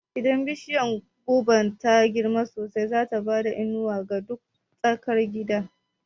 Idan bishiya gobar ta girma sosai, zata bada inuwa ga duka tsakar gidan